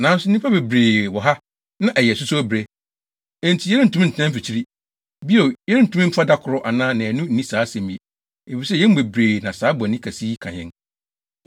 Nanso nnipa bebree wɔ ha na ɛyɛ asusow bere, enti yɛrentumi ntena mfikyiri. Bio, yɛrentumi mfa da koro anaa nnaanu nni saa asɛm yi, efisɛ, yɛn mu bebree na saa bɔne kɛse yi ka yɛn.